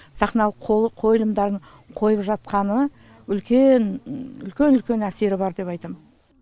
сахналық қойылымдарын қойып жатқаны үлкен үлкен үлкен әсері бар деп айтамын